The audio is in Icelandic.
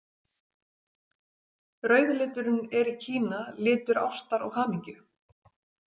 Rauði liturinn er í Kína litur ástar og hamingju.